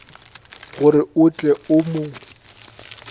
gore o tle o mo